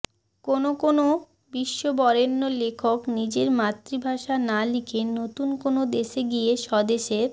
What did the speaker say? কোনও কোনও বিশ্ববরেণ্য লেখক নিজের মাতৃভাষায় না লিখে নতুন কোনও দেশে গিয়ে সেদেশের